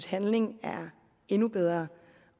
handling er endnu bedre